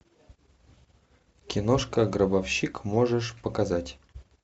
киношка гробовщик можешь показать